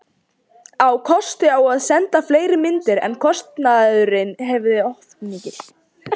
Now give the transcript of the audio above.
Á kost á að senda fleiri myndir, en kostnaðurinn hefði orðið of mikill.